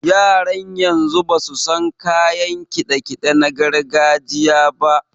Yaran yanzu basu san kayan kiɗe-kiɗe na gargajiya ba.